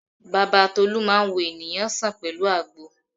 Bàbá Tolú máa ń wo ènìyàn sàn pẹ̀lú àgbo